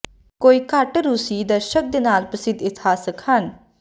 ਕੋਈ ਘੱਟ ਰੂਸੀ ਦਰਸ਼ਕ ਦੇ ਨਾਲ ਪ੍ਰਸਿੱਧ ਇਤਿਹਾਸਕ ਹਨ